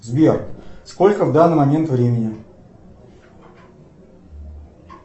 сбер сколько в данный момент времени